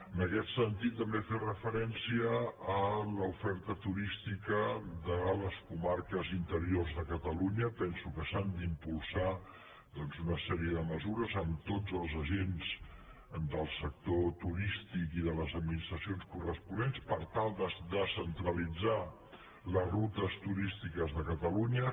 en aquest sentit també fer referència a l’oferta turística de les comarques interiors de catalunya penso que s’han d’impulsar doncs una sèrie de mesures amb tots els agents del sector turístic i de les administracions corresponents per tal de descentralitzar les rutes turístiques de catalunya